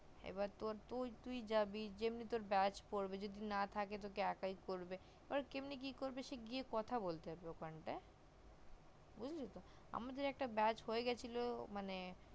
এবার তোর তুই জাবি যেমনি তোর beach পড়বে যদি না থাকে তোকে একই করবে এবার কেমনে কি করবি গিয়ে কথা বলতে হবে ওখানটায় বুজলি তো আমাদের একটা beach হয়ে গিয়েছিলো মানে